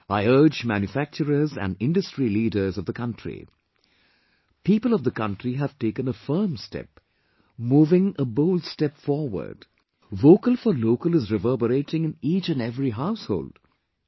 I urge manufacturers and industry leaders of the country ... people of the country have taken a firm step...moving a bold step forward...vocal for local is reverberating in each and every household...